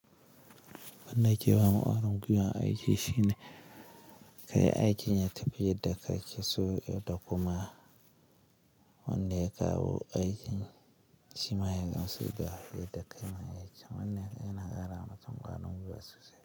Wannan ya ke ba ma kwarin guiwan aiki shine kayi aiki ya tafi yadda kake so ɗakuma. Wanda ya kawo aikin shima ya gamsu da yadda kayi mai aikin. Wannan yana ƙara ma mutum kwarin guiwa sosai.